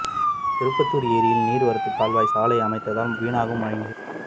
திருப்பத்தூர் ஏரியின் நீர்வரத்துக் கால்வாயில் சாலை அமைத்ததால் வீணாகும் மழை நீர்